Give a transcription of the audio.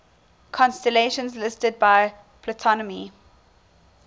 constellations listed by ptolemy